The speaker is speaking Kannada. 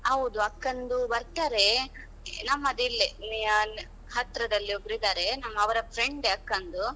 ಹೌದು ಅಕ್ಕಂದು ಬರ್ತಾರೆ, ನಮ್ಮದಿಲ್ಲೆ ನಿಹಾಲ್ ಹತ್ರದಲ್ಲೇ ಒಬ್ರು ಇದ್ದಾರೆ. ನಮ್ಮ ಅವರ friend ಅಕ್ಕಂದು.